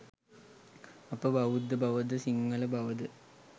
අප බෞද්ධ බව ද සිංහල බව ද